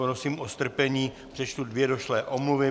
Prosím o strpení, přečtu dvě došlé omluvy.